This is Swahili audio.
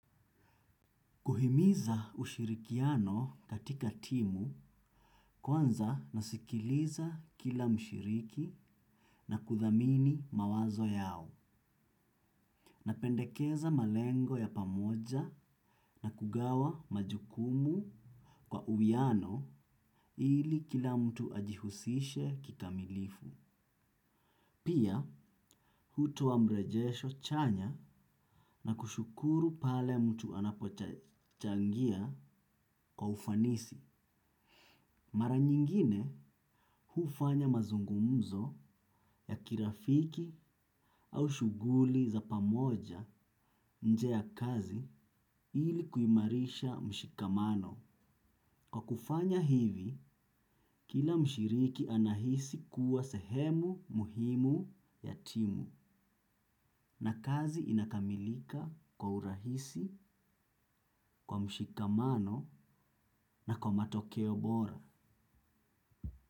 Kuhimiza ushirikiano katika timu. Kwanza nasikiliza kila mshiriki, na kuthamini mawazo yao. Napendekeza malengo ya pamoja, na kugawa majukumu kwa uwiano ili kila mtu ajihusishe kikamilifu. Pia, hutoa mrejesho chanya na kushukuru pale mtu anapochangia kwa ufanisi. Mara nyingine hufanya mazungumzo ya kirafiki au shughuli za pamoja nje ya kazi ili kuimarisha mshikamano. Kwa kufanya hivi, kila mshiriki anahisi kuwa sehemu muhimu ya timu na kazi inakamilika kwa urahisi, kwa mshikamano na kwa matokeo bora.